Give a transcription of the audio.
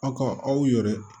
Aw ka aw yɛrɛ